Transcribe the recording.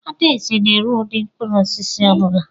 Adaeze na-ere ụdị mkpụrụ osisi ọ bụla.